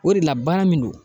O de la baara min do.